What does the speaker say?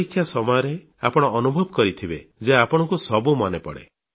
ପରୀକ୍ଷା ସମୟରେ ଆପଣ ଅନୁଭବ କରିଥିବେ ଯେ ଆପଣଙ୍କୁ ସବୁ ମନେପଡ଼େ